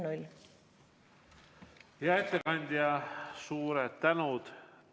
Hea ettekandja, suur tänu!